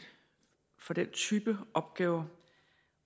for den type opgaver